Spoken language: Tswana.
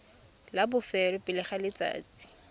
la bofelo pele ga letsatsi